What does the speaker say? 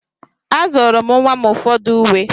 Azụụrụ m nwa m ụfọdụ uwe.